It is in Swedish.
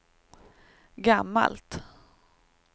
gammalt